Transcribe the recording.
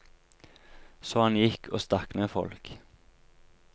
Så han gikk og stakk ned folk.